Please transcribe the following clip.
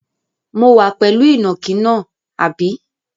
Mo wà pẹ̀lú ìnàkí náà, àbí?